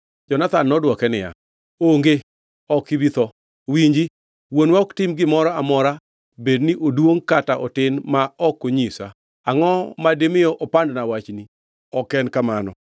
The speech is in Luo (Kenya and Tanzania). Jonathan nodwoke niya, “Onge. Ok ibi tho! Winji, wuonwa ok tim gimoro amora, bedni oduongʼ kata otin, ma ok onyisa. Angʼo madimi opandna wachni? Ok en kamano!”